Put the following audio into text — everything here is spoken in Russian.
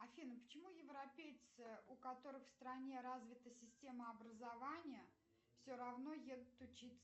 афина почему европейцы у которых в стране развита система образования все равно едут учиться